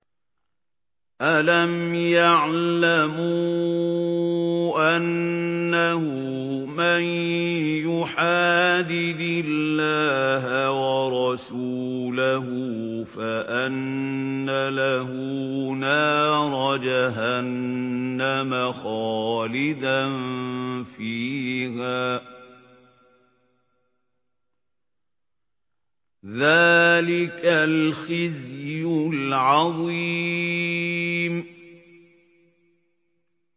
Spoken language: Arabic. أَلَمْ يَعْلَمُوا أَنَّهُ مَن يُحَادِدِ اللَّهَ وَرَسُولَهُ فَأَنَّ لَهُ نَارَ جَهَنَّمَ خَالِدًا فِيهَا ۚ ذَٰلِكَ الْخِزْيُ الْعَظِيمُ